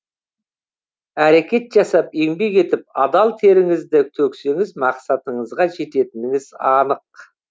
әрекет жасап еңбек етіп адал теріңізді төксеңіз мақсатыңызға жететініңіз анық